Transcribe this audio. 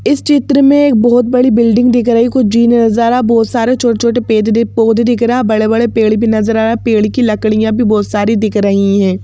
इस चित्र में एक बहुत बड़ी बिल्डिंग दिख रही कुछ जीने जरा बहुत सारे छो-छोटे पेजरीफ पौधे दिख रहा हैं और बड़े-बड़े पेड़ भी नजर आया हैं पेड़ की लकड़ियां भी बहुत सारी दिख रही हैं।